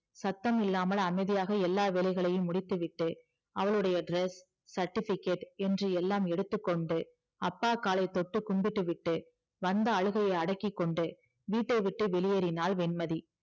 சத்தமில்லாமல் அமைதியாக எல்லா வேலைகளையும் முடித்துவிட்டு அவளுடைய dress certificate என்று எல்லாம் எடுத்துக்கொண்டு அப்பா காலை தொட்டு கும்பிட்டு விட்டு வந்த அழுகையை அடக்கிக்கொண்டு வீட்டை விட்டு வெளியேறினாள் வெண்மதி